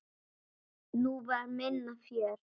Nú var minna fjör.